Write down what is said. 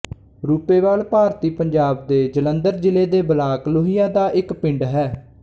ਰੂਪੇਵਾਲ ਭਾਰਤੀ ਪੰਜਾਬ ਦੇ ਜਲੰਧਰ ਜ਼ਿਲ੍ਹੇ ਦੇ ਬਲਾਕ ਲੋਹੀਆਂ ਦਾ ਇੱਕ ਪਿੰਡ ਹੈ